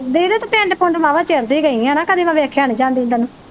ਦੀਦੀ ਤੂੰ ਪਿੰਡ ਪੁੰਡ ਵਾਵਾ ਚਿਰ ਦੀ ਗਈ ਆ ਹੇਨਾ ਕਦੀ ਮੈ ਵੇਖਿਆ ਨਹੀਂ ਜਾਂਦੀ ਨੂੰ ਤੈਨੂੰ